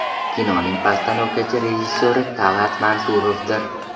Kinoning postanovkachi rejissyori Tal’at Mansurovdir.